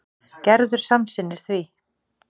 Gerður samsinnir því.